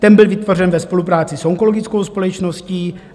Ten byl vytvořen ve spolupráci s Onkologickou společností.